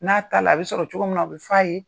N'a taa la a bɛ sɔrɔ cogo min na o bɛ f'a ye.